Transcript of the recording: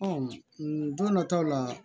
don dɔ taw la